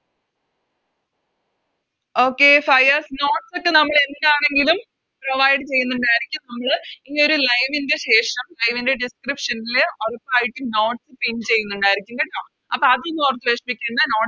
Okay Fayas Notes ഒക്കെ നമ്മളെന്താണെങ്കിലും Provide ചെയ്യുന്നുണ്ടായിരിക്കും നമ്മള് ഈയൊരു Live ൻറെ ശേഷം Live ൻറെ Description ല് ഉറപ്പായിട്ടും Notes pin ചെയ്യുന്നുണ്ടായിരിക്കും കേട്ടോ അപ്പൊ അതൊന്നും ഓർത്ത് വെഷമിക്കണ്ട